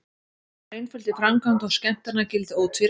Hún er einföld í framkvæmd og skemmtanagildið ótvírætt.